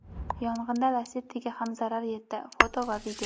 Yong‘indan Lacetti’ga ham zarar yetdi (foto va video).